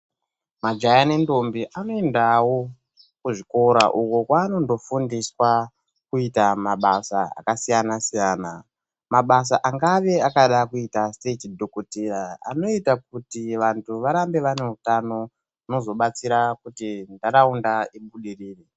Majaha nendombi anoendawo kuzvikora uko kwaanondofundiswa kuita mabasa akasiyana siyana. Mabasa angave akada kuita seechidhokodheya anoita kuti vantu varambe vane utano zvinozobatsira kuti ntaraunda ibudirire.